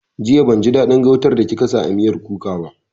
Jiya ban ji daɗin gautan da kika sa a miyar kuka ba